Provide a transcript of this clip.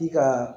I ka